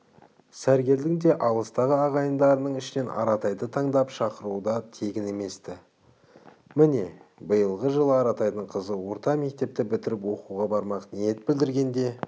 сәргелдің де алыстағы ағайындардың ішінен аратайды таңдап шақыруы да тегін емес-ті міне биылғы жылы аратайдың қызы орта мектепті бітіріп оқуға бармақ ниет білдіргенде